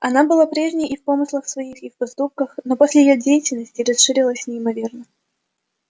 она была прежней и в помыслах своих и в поступках но после её деятельности расширилось неимоверно